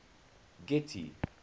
getty